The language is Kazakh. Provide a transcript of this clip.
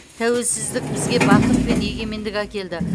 тәуелсіздік бізге бақыт пен егемендік әкелді